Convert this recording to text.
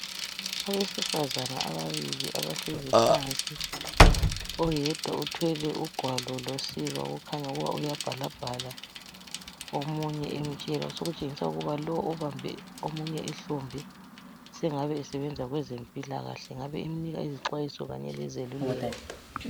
Abesifazana ababili abahlezi phansi oyedwa uthwele ugwalo losiba kukhanya uyabhalabhala omunye emtshela okutshingisa ukuba lo obambe omunye ihlombe sengabe esebenza kwezempilakahle engabe emnika izixwayiso Kanye lezeluleko